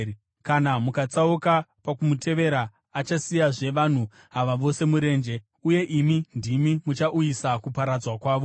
Kana mukatsauka pakumutevera, achasiyazve vanhu ava vose murenje, uye imi ndimi muchauyisa kuparadzwa kwavo.”